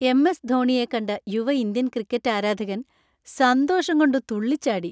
M. S. ധോണിയെ കണ്ട യുവ ഇന്ത്യൻ ക്രിക്കറ്റ് ആരാധകൻ സന്തോഷം കൊണ്ട് തുള്ളിച്ചാടി.